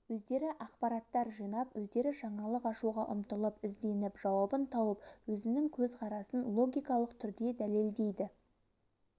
өздері ақпараттар жинап өздері жаңалық ашуға ұмтылып ізденіп жауабын тауып өзінің көзқарасын логикалық түрде дәлелдейді